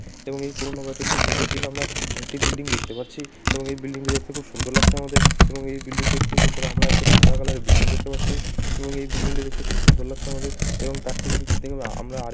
এবং এই পুরনো বাড়িটা ঠিক নিচের দিকে আমরা একটি বিল্ডিং দেখতে পাচ্ছি এবং এই বিল্ডিং টি দেখতে খুব সুন্দর লাগছে আমাদের এবং এই বিল্ডিং তার থেকে ঠিক উপরে আমরা একটা সাদা কালার বিল্ডিং দেখতে পাচ্ছি এবং এই বিল্ডিং টা দেখতে খুব সুন্দর লাগছে আমাদের এবং তার ঠিক নিচে আমাদের আমরা